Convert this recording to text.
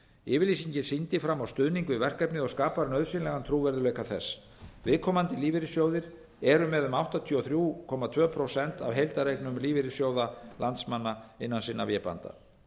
yfirlýsingin sýndi fram á stuðning við verkefnið og skapar nauðsynlegan trúverðugleika þess viðkomandi lífeyrissjóðir eru með um áttatíu og þrjú komma tvö prósent af heildareignum lífeyrissjóða landsmanna innan sinna vébanda